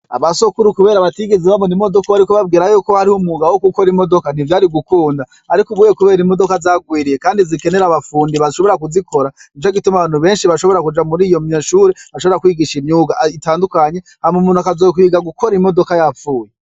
Aba sokuru kubera batigize babona imodoko bariko babwira yuko hariho umwuga wo gukora imodoka ntivyari gukunda, ariko ubuye kubera imodoka zagwiriye, kandi zikenera abafundi bashobora kuzikora nico gituma abantu benshi bashobora kuja muri ayo mashure ashobora kwigisha imyuga itandukanye hama umuntu akazokwiga gukora imodoka yapfuye.